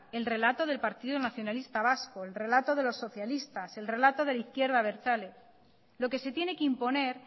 el relato del partido nacionalista vasco el relato de los socialistas el relato de la izquierda abertzale lo que se tiene que imponer